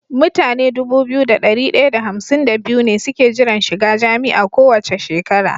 Mutane Dubu biyu da dari daya da hamsin da biyu ne suke jiran shiga jami'a kowace shekara